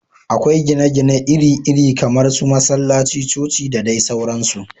Akwai gini iri iri kamar su masallaci, coci da dai sauransu